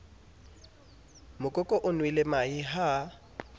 mokoko o nwele mahe ha